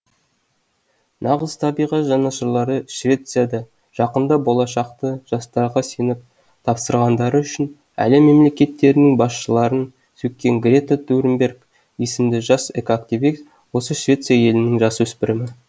нағыз табиғат жанашырлары швецияда жақында болашақты жастарға сеніп тапсырғандары үшін әлем мемлекеттерінің басшыларын сөккен грета турнберг есімді жас экоактивист осы швеция елінің жасөспірімі